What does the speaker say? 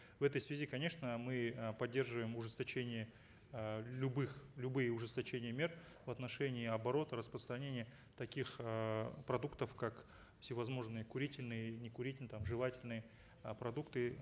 в этой связи конечно мы э поддерживаем ужесточение э любых любые ужесточения мер в отношении оборота распространения таких эээ продуктов как всевозможные курительные и некурительные там жевательные э продукты